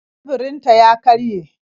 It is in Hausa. Teburinta ya karye